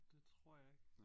Det tror jeg ikke